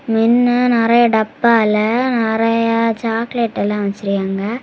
மின்ன நெறைய டப்பால நெறைய சாக்லேட் எல்லாம் வச்சிருக்காங்க.